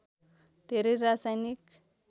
धेरै रासायनिक